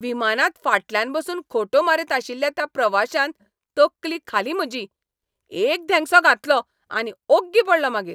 विमानांत फाटल्यान बसून खोंटो मारीत आशिल्ल्या त्या प्रवाशान तकली खाली म्हजी. एक धेंगसो घातलो आनी ओग्गी पडलो मागीर.